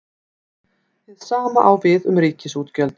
Hið sama á við um ríkisútgjöld.